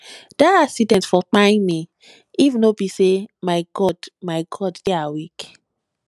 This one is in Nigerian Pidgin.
dat accident for kpai me if no be sey my god my god dey awake